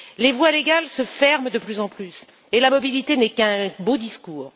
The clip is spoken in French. Les voies légales se ferment de plus en plus et la mobilité n'est qu'un beau discours.